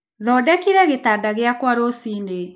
Thondekire gĩtanda gĩakwa rũcinĩ.